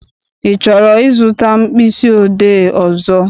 I chọrọ I zụta mkpịsị odee ọzọ?